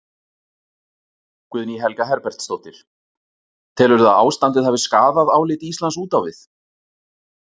Guðný Helga Herbertsdóttir: Telurðu að ástandið hafi skaðað álit Íslands út á við?